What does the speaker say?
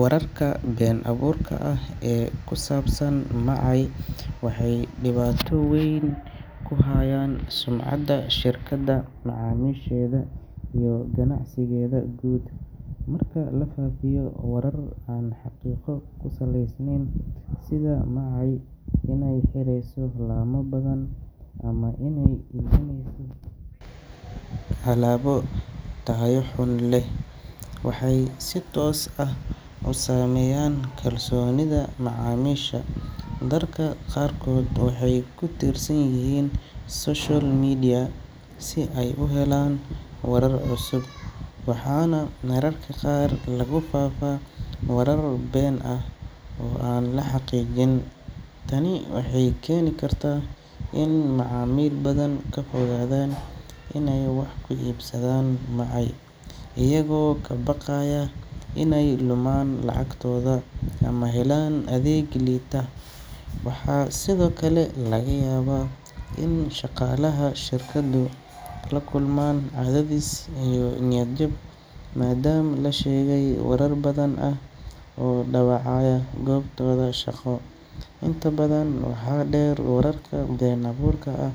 Wararka been abuurka ah ee ku saabsan Macy waxay dhibaato weyn ku hayaan sumcadda shirkadda, macaamiisheeda, iyo ganacsigeeda guud. Marka la faafiyo warar aan xaqiiqo ku salaysnayn, sida Macy inay xirayso laamo badan, ama inay iibinayso alaabo tayo xun leh, waxay si toos ah u saameeyaan kalsoonida macaamiisha. Dadka qaarkood waxay ku tiirsan yihiin social media si ay u helaan warar cusub, waxaana mararka qaar lagu faafaa warar been ah oo aan la xaqiijin. Tani waxay keeni kartaa in macaamiil badan ka fogaadaan inay wax ka iibsadaan Macy, iyagoo ka baqaya inay lumaan lacagtooda ama helaan adeeg liita. Waxaa sidoo kale laga yaabaa in shaqaalaha shirkaddu la kulmaan cadaadis iyo niyad jab maadaama la sheegay warar been ah oo dhaawacaya goobtooda shaqo. Intaa waxaa dheer, wararka been abuurka ah